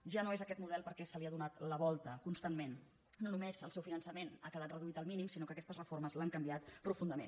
ja no és aquest model perquè se li ha donat la volta constantment no només el seu finançament ha quedat reduït al mínim sinó que aquestes reformes l’han canviat profundament